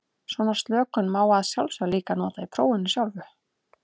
Svona slökun má að sjálfsögðu líka nota í prófinu sjálfu.